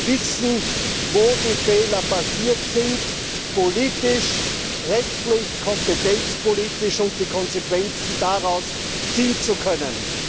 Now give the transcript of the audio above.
Wir wollen wissen, wo welche Fehler passiert sind, politisch, rechtlich, kompetenzpolitisch, um die Konsequenzen daraus ziehen zu können.